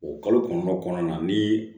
O kalo kɔnɔntɔn kɔnɔna na ni